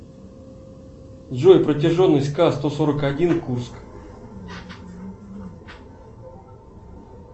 джой протяженность к сто сорок один курск